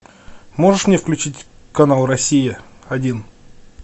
можешь мне включить канал россия один